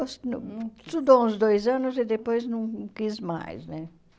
Ela estudou estudou uns dois anos e depois não quis mais, né?